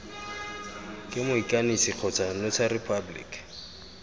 ke moikanisi kgotsa notary public